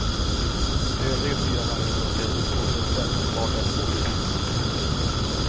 De övriga fyra vargarna är uppdelade i två grupper om vardera två djur.